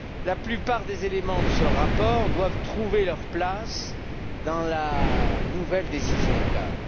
La plupart des éléments de ce rapport doivent trouver leur place dans la nouvelle décision cadre.